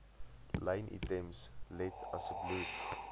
lynitems let asseblief